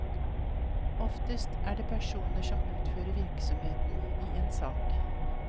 Oftest er det personer som utfører virksomheten i en sak.